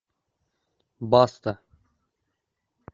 баста